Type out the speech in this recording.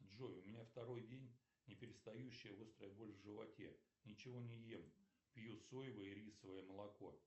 джой у меня второй день не перестающее острая боль в животе ничего не ем пью соевое и рисовое молоко